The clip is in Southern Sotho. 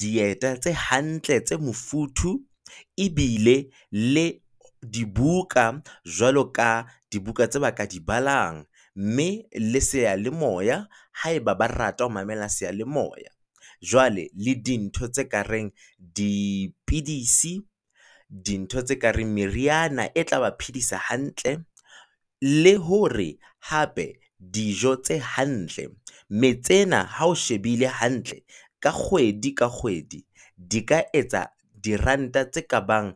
dieta tse hantle tse mofuthu, ebile le dibuka. Jwalo ka dibuka tse ba ka di balang, mme le seya le moya haeba ba rata ho mamela seya le moya. Jwale le dintho tse ka reng dipidisi, dintho tse ka reng meriana e tla ba phidisa hantle, le hore hape dijo tse hantle. Tsena ha o shebile hantle ka kgwedi ka kgwedi, di ka etsa diranta tse ka bang